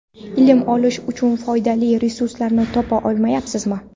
Ilm olish uchun foydali resurslarni topa olmayabsizmi?.